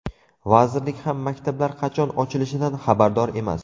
Vazirlik ham maktablar qachon ochilishidan xabardor emas.